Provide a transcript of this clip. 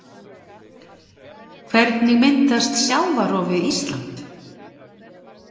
Hvernig myndast sjávarrof við Ísland?